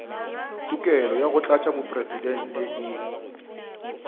tokelo ya go kgetha motlatšamopresidente